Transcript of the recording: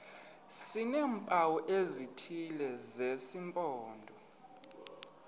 sineempawu ezithile zesimpondo